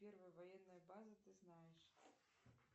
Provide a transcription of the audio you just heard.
первая военная база ты знаешь